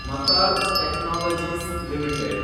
ಮತಾರ್ technologies limited